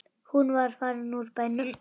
Hún var farin úr bænum.